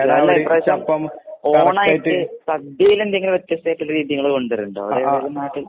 അല്ല ഇപ്രാവശ്യം ഓണായിട്ട് സദിലെന്തെങ്കിലും വ്യത്യസ്ഥായിട്ടൊരു രീതീങ്ങള് കൊണ്ട്വര്ണ്ടോ അവടെ ഏതേലും